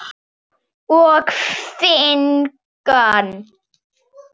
og finkan?